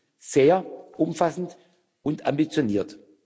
Er ist sehr umfassend und ambitioniert.